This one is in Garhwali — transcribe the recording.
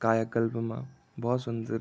कायाकल्प मा भौत सुन्दर।